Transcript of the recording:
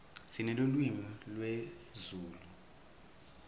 sinelulwimi lezulu